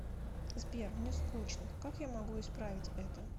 сбер мне скучно как я могу исправить это